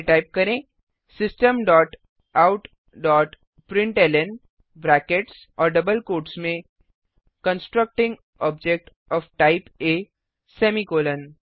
फिर टाइप करें system dot out dot println brackets और डबल कोट्स में constructing object of type A semicolon